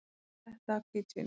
Sletta af hvítvíni.